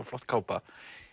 flott kápa